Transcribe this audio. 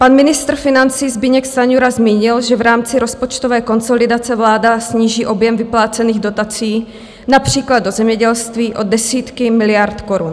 Pan ministr financí Zbyněk Stanjura zmínil, že v rámci rozpočtové konsolidace vláda sníží objem vyplácených dotací například do zemědělství o desítky miliard korun.